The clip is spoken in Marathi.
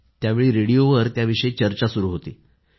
त्यावेळी रेडिओवर त्याविषयीच चर्चा सुरू होती